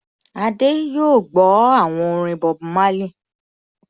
Adé yóò gbọ́ àwọn orin Bob Marley